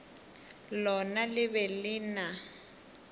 lona le be le na